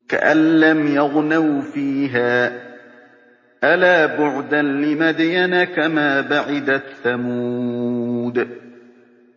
كَأَن لَّمْ يَغْنَوْا فِيهَا ۗ أَلَا بُعْدًا لِّمَدْيَنَ كَمَا بَعِدَتْ ثَمُودُ